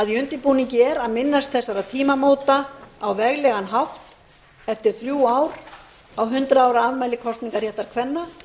í undirbúningi er að minnast þessara tímamóta á veglegan hátt eftir þrjú ár á hundrað ára afmæli kosningarréttar kvenna